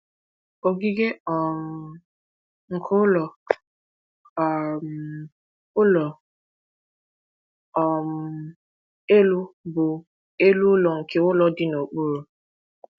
Ogige um nke ụlọ um ụlọ um elu bụ elu ụlọ nke ụlọ dị n’okpuru.